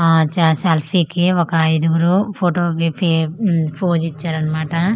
ఆ చా సెల్ఫీ కి ఒక ఐదుగురు ఫోటో కి ఫె మ్మ్ ఫోస్ ఇచ్చారన్మాట.